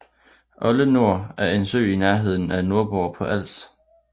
Oldenor er en sø i nærheden af Nordborg på Als